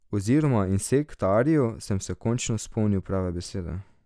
Oziroma insektariju, sem se končno spomnil prave besede.